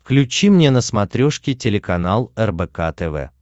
включи мне на смотрешке телеканал рбк тв